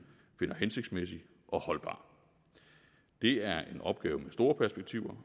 finder hensigtsmæssig og holdbar det er en opgave med store perspektiver